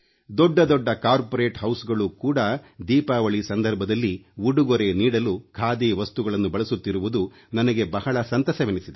ದೊಡ್ಡ ದೊಡ್ಡ ಕಾರ್ಪೋರೇಟ್ ಹೌಸ್ಗಳು ಕೂಡಾ ದೀಪಾವಳಿ ಸಂದರ್ಭದಲ್ಲಿ ಉಡುಗೊರೆ ನೀಡಲು ಖಾದಿ ವಸ್ತುಗಳನ್ನು ಬಳಸುತ್ತಿರುವುದು ನನಗೆ ಬಹಳ ಸಂತಸವೆನಿಸಿದೆ